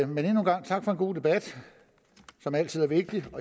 men endnu en gang tak for en god debat som altid er vigtig